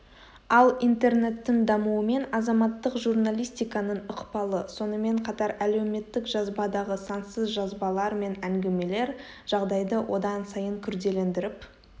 ал интернеттің дамуымен азаматтық журналистиканың ықпалы сонымен қатар әлеуметтік жазбадағы сансыз жазбалар мен әңгімелер жағдайды одан сайын күрделендіріп